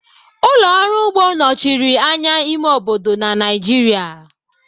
Ụlọ ọrụ ugbo nọchiri anya ime obodo na Naijiria.